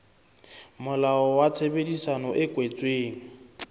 molao wa tshebedisano e kwetsweng